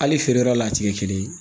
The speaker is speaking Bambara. Hali feere yɔrɔ la a tɛ kɛ kelen ye